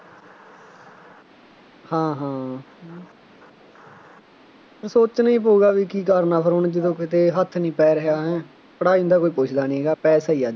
ਹਾਂ ਹਾਂ ਅਤੇ ਸੋਚਣਾ ਹੀ ਪਊਗਾ ਬਈ ਕੀ ਕਰਨਾ ਫੇਰ ਹੁਣ ਜਦੋਂ ਕਿਤੇ ਹੱਥ ਨਹੀਂ ਪੈ ਰਿਹਾ ਹੈਂ ਪੜ੍ਹਾਈ ਨੂੰ ਤਾਂ ਕੋਈ ਪੁੱਛਦਾ ਨਹੀਂ ਹੈਗਾ ਪੈਸਾ ਹੀ ਆ